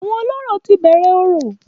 Àwọn olórò ti bẹ̀rẹ̀ orò